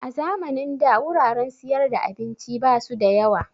A zamanin da wuraren siyar da abinci ba su da yawa.